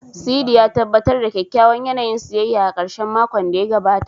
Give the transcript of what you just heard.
Sidi, ya tabbatar da kyakkyawan yanayin siyayya a ƙarshen makon da ya gabata.